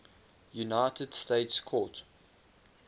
united states court